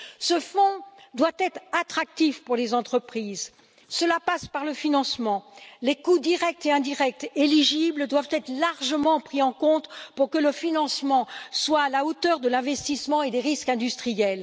Ce fonds doit être attractif pour les entreprises, cela passe par le financement, les coûts directs et indirects éligibles doivent être largement pris en considération pour que le financement soit à la hauteur de l'investissement et des risques industriels.